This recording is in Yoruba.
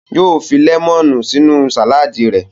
Yóò fi lẹ́mọ́nù sínú sàládì rẹ̀.